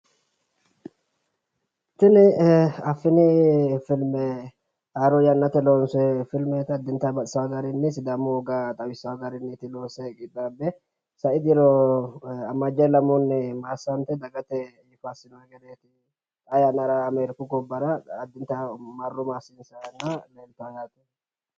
Tini affini filme haaro yaannate loonso filmeeti addinta baxxisaawo garinni sidaamu woga xawisawo garinni loonse qixxaabbe sai diro ammajje lamunni maassante dagate yifa assino gede xaa yanna ameeriku gobbara qaxxita marro maassissara leeltawo yaate